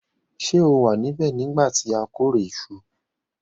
Se o wa nibẹ̀ nígbà ti a kórè isu